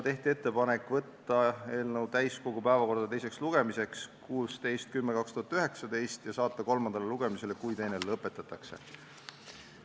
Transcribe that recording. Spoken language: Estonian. Tehti ettepanek saata eelnõu täiskogu päevakorda teiseks lugemiseks 16. oktoobriks 2019 ja saata kolmandale lugemisele, kui teine lõpetatakse.